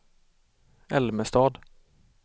Älmestad